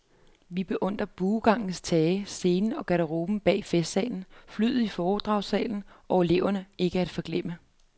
Vi beundrede buegangens tage, scenen og garderoben bag festsalen, flyglet i foredragssalen og eleverne, ikke at forglemme.